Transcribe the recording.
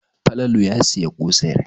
Falalau ya sayi ƙosai.